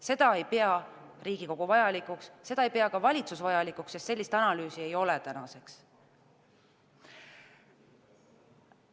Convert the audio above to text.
Seda ei pea Riigikogu vajalikuks, seda ei pea ka valitsus vajalikuks, sest sellist analüüsi tänaseks ei ole.